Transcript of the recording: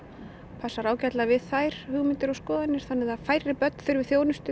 passar ágætlega við þær hugmyndir og skoðanir þannig að færri börn þurfi þjónustu